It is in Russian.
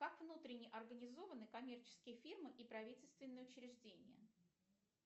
как внутренне организованы коммерческие фирмы и правительственные учреждения